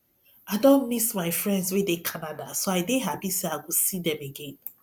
i don miss my friends wey dey canada so i dey happy say i go see dem again